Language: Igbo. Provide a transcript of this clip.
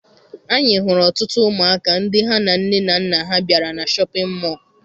Anyị hụrụ ọtụtụ ụmụ aka ndị ha na nne na nna ha bịara na Shọpịn mọọ.